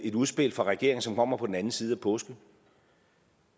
et udspil fra regeringen som kommer på den anden side af påsken